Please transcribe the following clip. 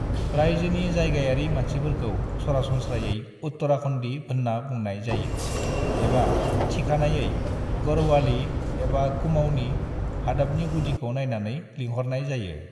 "रायजोनि जायगायारि मानसिफोरखौ सरासनस्रायै उत्तराखन्दि होनना बुंनाय जायो एबा थिखानायै गढ़वाली एबा कुमाऊनि, हादाबनि गुदिखौ नायनानै लिंहरनाय जायो।"